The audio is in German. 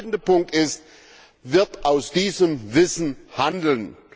Der entscheidende Punkt ist Wird aus diesem Wissen Handeln?